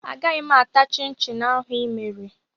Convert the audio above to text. Agaghị m ata chịn chịn ahụ ị mere